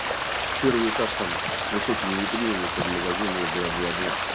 первый этаж там с высокими витринами под магазины бла-бла-бла